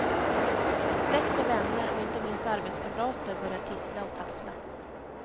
Släkt och vänner och inte minst arbetskamrater börjar tissla och tassla.